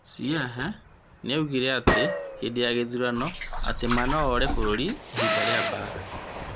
Hsieh nĩaugire atĩ hĩndĩ ya gĩthurano atĩ Ma noore bũrũri hĩndĩ ya mbara.